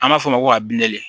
An b'a fɔ o ma ko ka bin de